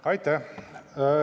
Aitäh!